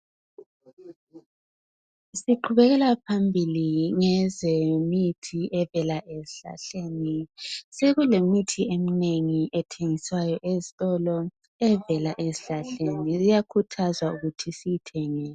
Siqhubekela phambili ngezemithi evela ezihlahleni. Sokulemithi eminengi ethengiswayo ezitolo evela ezihlahleni, kuyakhuthazwa ukuba siyithenge.